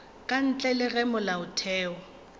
ka ntle le ge molaotheo